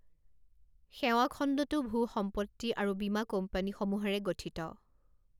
সেৱা খণ্ডটো ভূ সম্পত্তি আৰু বীমা কোম্পানীসমূহেৰে গঠিত।